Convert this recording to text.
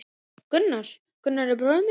Gunnar, Gunnar er bróðir minn.